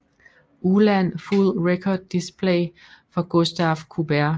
ULAN Full Record Display for Gustave Courbet